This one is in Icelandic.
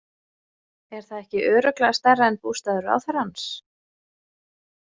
Er það ekki örugglega stærra en bústaður ráðherrans?